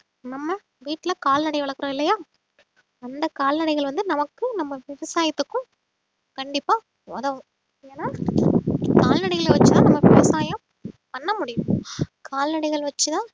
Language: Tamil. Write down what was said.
நம்ம வீட்டுல கால்நடை வளர்க்கிறோம் இல்லையா அந்த கால்நடைகள் வந்து நமக்கும் நம்ம விவசாயத்துக்கும் கண்டிப்பா உதவும் ஏன்னா கால்நடைகளை வச்சுதான் நம்ம விவசாயம் பண்ண முடியும் கால்நடைகள் வச்சுதான்